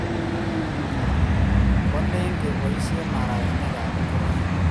Kwalin kipaishe mararenik ab ngoroik